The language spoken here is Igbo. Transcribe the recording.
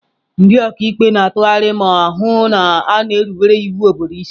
Ndị ọka ikpe na-atụgharị ma hụ na a na-erubere iwu obodo isi.